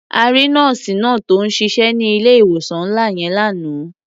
A rí nọ́ọ̀sì náà tó ń ṣiṣẹ́ ní ilé-ìwòsàn ńlá yẹn lánàá.